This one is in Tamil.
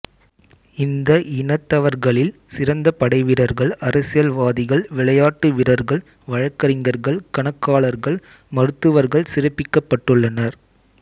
இந்த இனத்தவர்களில் சிறந்த படைவீரர்கள் அரசியல்வாதிகள் விளையாட்டு வீரர்கள் வழக்கறிஞர்கள் கணக்காளர்கள் மருத்துவர்கள் சிறப்பிக்கப்பட்டுள்ளனர்